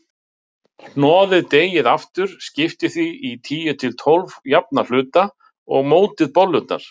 Og hún var móðir einhvers.